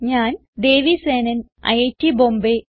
ഞാൻ ദേവി സേനൻ ഐറ്റ് ബോംബേ